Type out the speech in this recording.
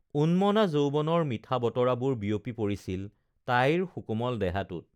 উন্মনা যৌৱনৰ মিঠা বতৰাবোৰ বিয়পি পৰিছিল তাইৰ সুকোমল দেহাটোত